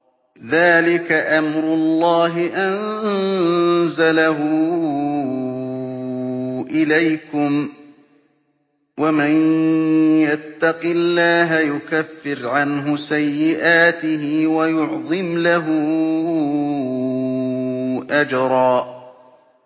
ذَٰلِكَ أَمْرُ اللَّهِ أَنزَلَهُ إِلَيْكُمْ ۚ وَمَن يَتَّقِ اللَّهَ يُكَفِّرْ عَنْهُ سَيِّئَاتِهِ وَيُعْظِمْ لَهُ أَجْرًا